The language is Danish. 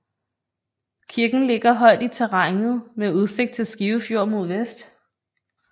Kirken ligger højt i terrænet med udsigt til Skive Fjord mod vest